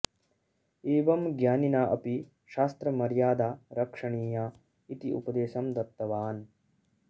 एवं ज्ञानिना अपि शास्त्रमर्यादा रक्षणीया इति उपदेशं दत्तवान्